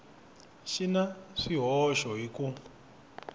xi na swihoxo hi ku